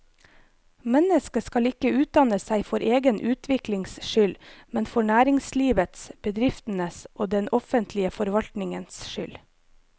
Mennesket skal ikke utdanne seg for egen utviklings skyld, men for næringslivets, bedriftenes og den offentlige forvaltningens skyld.